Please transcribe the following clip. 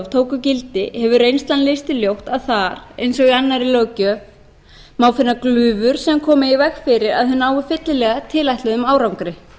tóku gildi hefur reynslan leitt í ljós að þar eins og í annarri löggjöf má finna glufur sem koma í veg fyrir að þau nái fyllilega tilætluðum árangri